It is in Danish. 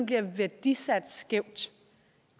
bliver værdisat skævt